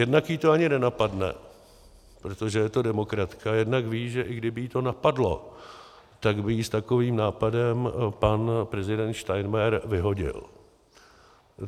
Jednak ji to ani nenapadne, protože je to demokratka, jednak ví, že i kdyby ji to napadlo, tak by ji s takovým nápadem pan prezident Steinmeier vyhodil.